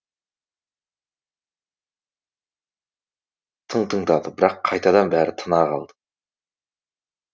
тың тыңдады бірақ қайтадан бәрі тына қалды